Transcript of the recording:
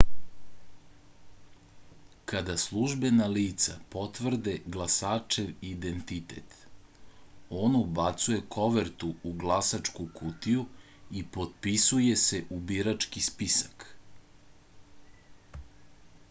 kada službena lica potvrde glasačev identitet on ubacuje kovertu u glasačku kutiju i potpisuje se u birački spisak